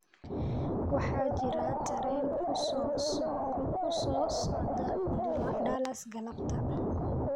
waxaa jira tareen ku soo socda Dallas galabta